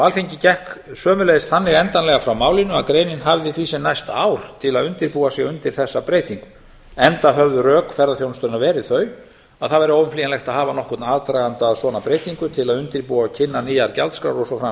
alþingi gekk sömuleiðis þannig endanlega frá málinu að greinin hafði því sem næst ár til að undirbúa sig undir þessa breytingu enda höfðu rök ferðaþjónustunnar verið þau að það væri óumflýjanlegt að hafa nokkurn aðdraganda að svona breytingu til að undirbúa og kynna nýjar gjaldskrár og svo